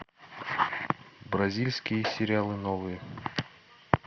бразильские сериалы новые